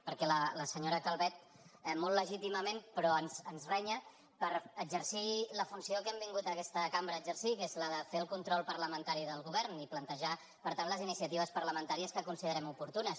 perquè la senyora calvet molt legítimament però ens renya per exercir la funció que hem vingut a aquesta cambra a exercir que és la de fer el control parlamen·tari del govern i plantejar per tant les iniciatives par la ·mentàries que considerem oportunes